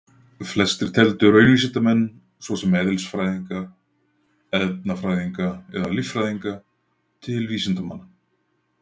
Flestir teldu raunvísindamenn svo sem eðlisfræðinga, efnafræðinga eða líffræðinga til vísindamanna.